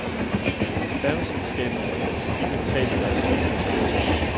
Færgeselskabernes statistikker taler deres tydelige sprog.